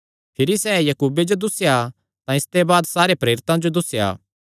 भिरी सैह़ याकूबे जो दुस्सेया तां इसते बाद सारे प्रेरितां जो दुस्सेया